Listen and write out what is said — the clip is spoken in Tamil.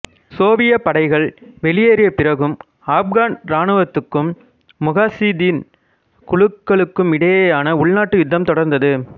சோவியத் படைகள் வெளியேறியபிறகும் ஆப்கன் இராணுவத்துக்கும் முகாசிதீன் குழுக்களுக்குமிடையேயான உள்நாட்டு யுத்தம் தொடர்ந்தது